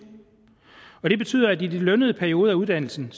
og det betyder at i de lønnede perioder af uddannelsen